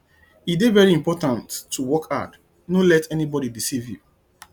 e dey very important to work hard no let anybodi deceive you